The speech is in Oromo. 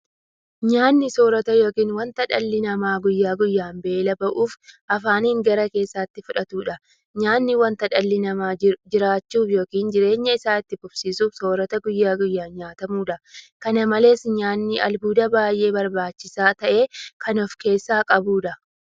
Nyaanni soorata yookiin wanta dhalli namaa guyyaa guyyaan beela ba'uuf afaaniin gara keessaatti fudhatudha. Nyaanni wanta dhalli namaa jiraachuuf yookiin jireenya isaa itti fufsiisuuf soorata guyyaa guyyaan nyaatamudha. Kana malees nyaanni albuuda baay'ee barbaachisaa ta'e kan ofkeessaa qabudha.